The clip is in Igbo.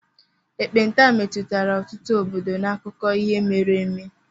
ekpenta metụtara ọtụtụ obodo n'akụkọ ihe mere eme.